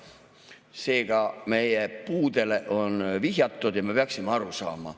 Seega, meie puudele on vihjatud ja me peaksime aru saama.